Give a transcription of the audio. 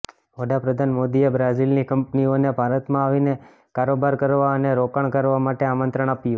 વડાપ્રધાન મોદીએ બ્રાઝીલની કંપનીઓને ભારતમાં આવીને કારોબાર કરવા અને રોકાણ કરવા માટે આમંત્રણ આપ્યું